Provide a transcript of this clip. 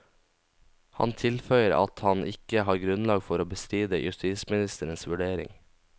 Han tilføyer at han ikke har grunnlag for å bestride justisministerens vurdering.